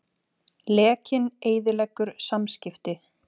Lekinn eyðileggur samskipti